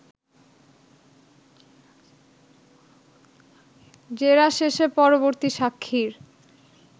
জেরা শেষে পরবর্তী সাক্ষীর